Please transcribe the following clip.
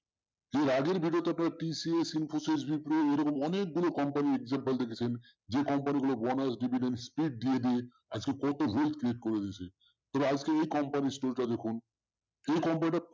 এর আগে TCS Infosys Wipro এরকম অনেকগুলো company যে company গুলো bonus divident আজকে কত তবে আজকে company র শুরুটা দেখুন যে company টা